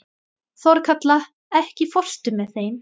Þorkatla, ekki fórstu með þeim?